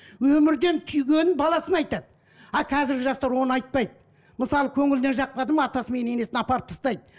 өмірден түйгенін баласына айтады а қазіргі жастар оны айтпайды мысалы көңіліне жақпады ма атасы мен енесін апарып тастайды